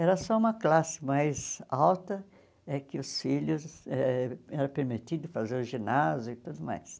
Era só uma classe mais alta, é que os filhos eh eram permitidos fazer o ginásio e tudo mais.